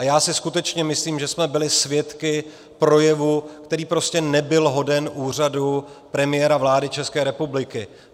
A já si skutečně myslím, že jsme byli svědky projevu, který prostě nebyl hoden úřadu premiéra vlády České republiky.